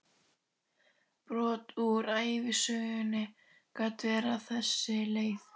Brot úr ævisögunni gat verið á þessa leið